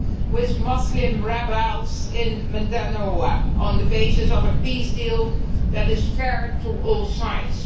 with Muslim rebels in Mindanao on the basis of a peace deal that is fair to all sides.